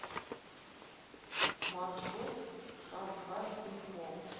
маршрут шанхай сити молл